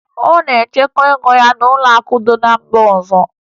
Ọ na-echekwa ego ya n'ụlọakụ dị na mba ọzọ